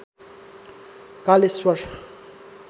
Kaleshwar